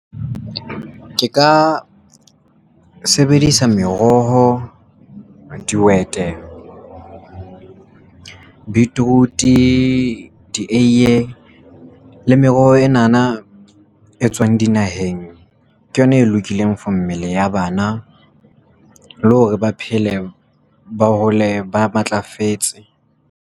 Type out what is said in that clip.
Ke ka sebedisa meroho, dihwete, beetroot, dieiye le meroho enana e tswang dinaheng ke yona e lokileng for mmele ya bana le hore ba phele ba hole ba matlafetse.